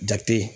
Jate